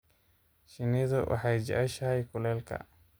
Shinnidu waxay jeceshahay kulaylka.